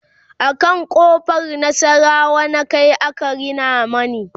a can ƙofar nasarawa na Kai aka Rina mani